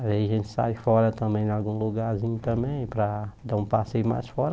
Aí a gente sai fora também, em algum lugarzinho também, para dar um passeio mais fora.